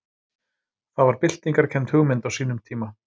Það var byltingarkennd hugmynd á sínum tíma.